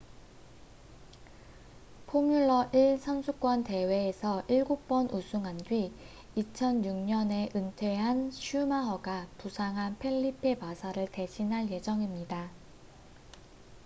포뮬러 1 선수권 대회에서 일곱 번 우승한 뒤 2006년에 은퇴한 슈마허가 부상한 펠리페 마사를 대신할 예정입니다